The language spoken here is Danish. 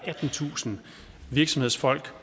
attentusind virksomhedsfolk